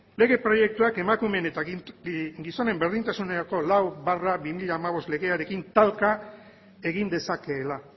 lege proiektuak emakumeen eta gizonen berdintasunerako lau barra bi mila hamabost legearekin talka egin dezakeela